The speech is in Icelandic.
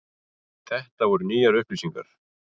Þetta voru nýjar upplýsingar.